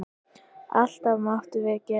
Allt máttum við gera.